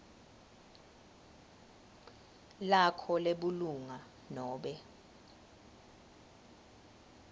lakho lebulunga nobe